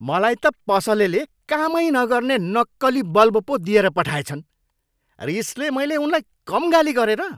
मलाई त पसलेले कामै नगर्ने नक्कली बल्ब पो दिएर पठाएछन्। रिसले मैले उनलाई कम गाली गरेँ र?